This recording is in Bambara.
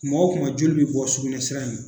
Kuma wo kuma joli bɛ bɔ sukunɛ sira in na.